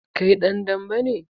Kai dan dambe ne?